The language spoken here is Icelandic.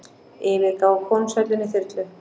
Yfirgáfu konungshöllina í þyrlu